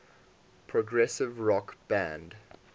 progressive rock band